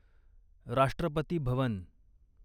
राष्ट्रपती भवन